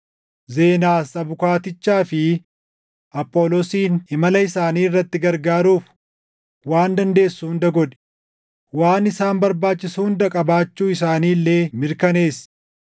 Zenaas abukaattichaa fi Apholoosin imala isaanii irratti gargaaruuf waan dandeessu hunda godhi; waan isaan barbaachisu hunda qabaachuu isaanii illee mirkaneessi.